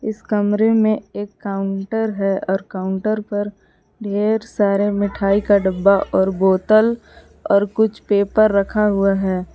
इस कमरे में एक काउंटर है और काउंटर पर ढेर सारे मिठाई का डब्बा और बोतल और कुछ पेपर रखा हुआ है।